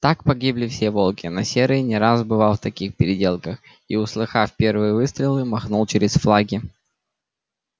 так погибли все волки но серый не раз бывал в таких переделках и услыхав первые выстрелы махнул через флаги